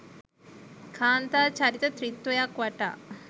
කාන්තා චරිත ත්‍රිත්වයක් වටා